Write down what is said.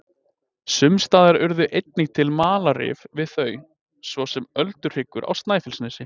Sums staðar urðu einnig til malarrif við þau, svo sem Ölduhryggur á Snæfellsnesi.